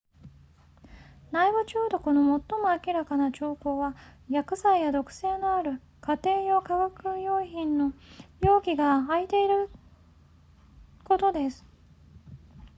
内部中毒の最も明らかな兆候は薬剤や毒性のある家庭用化学薬品の容器が開いていることです